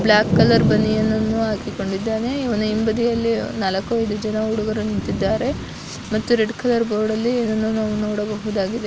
block colour ಬನಿಯನನ್ನು ಹಾಕಿಕೊಂಡಿದ್ದಾನೆ ಇವ್ನ ಹಿಂಬದಿಯಲ್ಲಿನಾಲಕೈದು ಜನ ಹುಡುಗರು ನಿಂತಿದ್ದಾರೆ ಮತ್ತೆ ರೆಡ್ ಕಲರ್ ಬೋರ್ಡ್ ಅಲ್ಲಿ ಇನ್ನು ನಾವು ನೋಡಬಹುದಾಗಿದೆ --